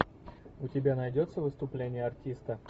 у тебя найдется выступление артиста